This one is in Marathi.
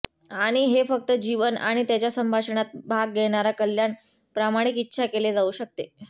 आणि हे फक्त जीवन आणि त्याच्या संभाषणात भाग घेणारा कल्याण प्रामाणिक इच्छा केले जाऊ शकते